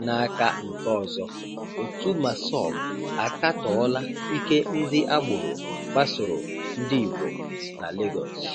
N'áká nke ọzọ, òtù Màssọb àkátọọla íke ndị́ ágbòrò kpasòrò Ndị́gbò nà Legọs.